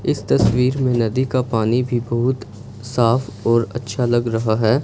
इस तस्वीर में नदी का पानी भी बहुत साफ और अच्छा लग रहा है।